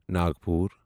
Nagpur